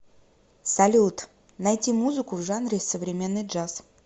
салют найти музыку в жанре современный джаз